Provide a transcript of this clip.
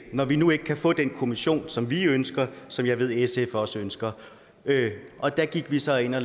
når vi nu ikke kan få den kommission som vi ønsker og som jeg ved sf også ønsker og der gik vi så ind og